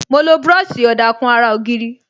Mo lo búròsì ọ̀dà kùn ara ògiri